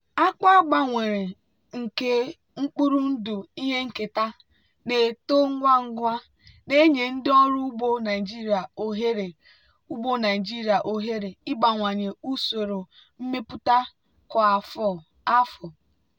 akpụ a gbanwere nke mkpụrụ ndụ ihe nketa na-eto ngwa ngwa na-enye ndị ọrụ ugbo naijiria ohere ugbo naijiria ohere ịbawanye usoro mmepụta kwa afọ.